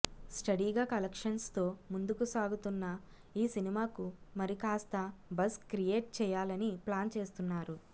స్టడీగా కలెక్షన్స్ తో ముందుకు సాగుతున్న ఈ సినిమాకు మరికాస్త బజ్ క్రియేట్ చేయాలనీ ప్లాన్ చేస్తున్నారు